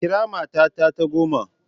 Kira mata ta goma!